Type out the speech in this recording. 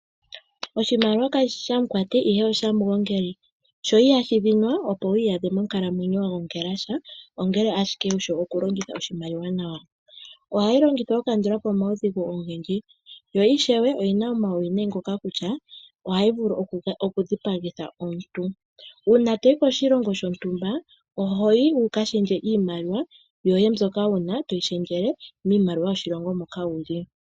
Oshimaliwa kashi shi shamukwati, ihe oshamugongongeli. Sho ihashi dhinwa. Opo wu iyadhe monkalamwenyo wa gongela sha, ongele ashike wu shi okulongitha oshimaliwa nawa. Ohayi longithwa okukandula po omaudhigu ogendji, yo ishewe oyi na omauwinayi ngoka kutya ohayi vulu okudhipagitha omuntu. Uuna to yi koshilongo shontumba oho yi wu ka shendje iimaliwa yoye to yi shendjele miimaliwa yoshilongo moka wu li.